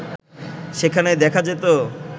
সেখানে দেখা যেত